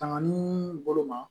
Tangani bolo ma